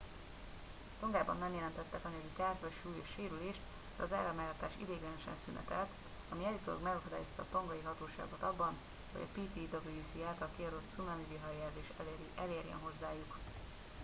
tongában nem jelentettek anyagi kárt vagy súlyos sérülést de az áramellátás ideiglenesen szünetelt ami állítólag megakadályozta a tongai hatóságokat abban hogy a ptwc által kiadott cunami viharjelzés elérjen hozzájuk